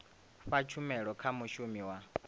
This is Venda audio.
fha tshumelo kha mushumi wa